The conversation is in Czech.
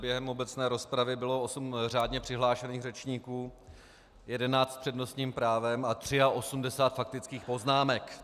Během obecné rozpravy bylo 8 řádně přihlášených řečníků, 11 s přednostním právem a 83 faktických poznámek.